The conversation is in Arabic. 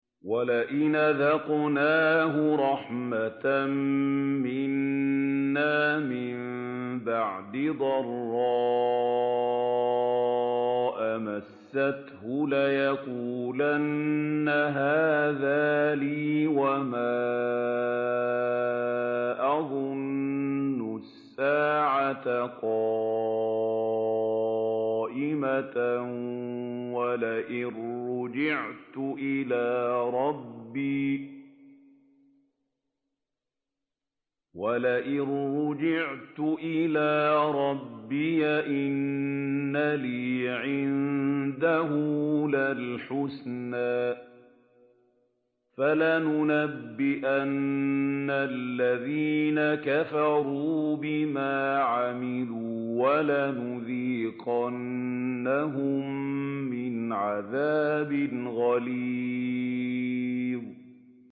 وَلَئِنْ أَذَقْنَاهُ رَحْمَةً مِّنَّا مِن بَعْدِ ضَرَّاءَ مَسَّتْهُ لَيَقُولَنَّ هَٰذَا لِي وَمَا أَظُنُّ السَّاعَةَ قَائِمَةً وَلَئِن رُّجِعْتُ إِلَىٰ رَبِّي إِنَّ لِي عِندَهُ لَلْحُسْنَىٰ ۚ فَلَنُنَبِّئَنَّ الَّذِينَ كَفَرُوا بِمَا عَمِلُوا وَلَنُذِيقَنَّهُم مِّنْ عَذَابٍ غَلِيظٍ